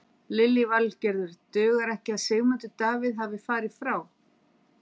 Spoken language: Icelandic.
Lillý Valgerður: Dugar ekki að Sigmundur Davíð hafi farið frá?